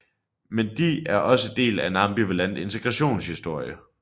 Men de er også del af en ambivalent integrationshistorie